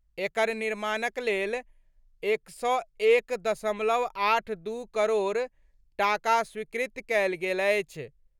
एकर निर्माणक लेल 101.82 करोड़ टाका स्वीकृत कयल गेल अछि।